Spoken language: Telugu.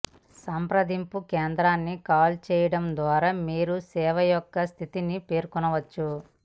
సంప్రదింపు కేంద్రాన్ని కాల్ చేయడం ద్వారా మీరు సేవ యొక్క స్థితిని పేర్కొనవచ్చు